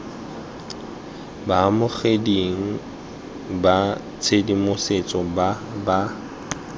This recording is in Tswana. baamogeding ba tshedimosetso ba ba